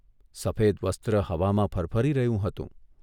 સફેદ વસ્ત્ર હવામાં ફરફરી રહ્યું હતું.